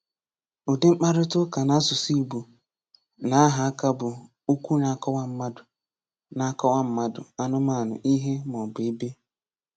Udi Mkparịta ụka N'asụsụ Igbo \nAha Aka bụ okwu na-akọwa mmadụ, na-akọwa mmadụ, anụmanụ, ihe, maọbụ ebe.